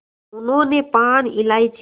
उन्होंने पान इलायची